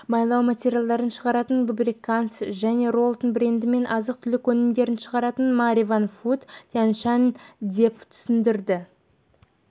майлау материалдарын шығаратын лубрикантс және роллтон брендімен азық-түлік өнімдерін шығаратын маревен фуд тянь-шань деп түсіндірді